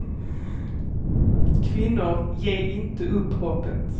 Kvinnor, ge inte upp hoppet.